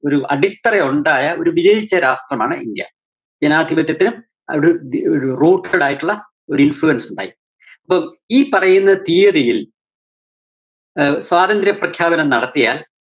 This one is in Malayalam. ഒരു അടിത്തറയുണ്ടായ ഒരു വിജയിച്ച രാഷ്ട്രമാണ് ഇന്ത്യ. ജനാധിപത്യത്തിലും അവിടെ ഒരു routed ആയിട്ടുള്ള ഒരു influence ഉണ്ടായിട്ടുണ്ട്. അപ്പം ഈ പറയുന്ന തിയ്യതിയില്‍ ആഹ് സ്വതന്ത്രപ്രഖ്യാപനം നടത്തിയാല്‍